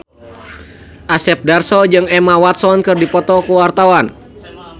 Asep Darso jeung Emma Watson keur dipoto ku wartawan